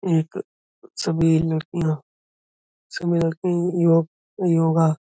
एक सभी लड़कियाँ सभी लड़कियाँ यो- योगा--